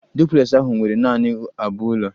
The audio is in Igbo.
Duplex ahụ nwere nanị abụọ ụlọ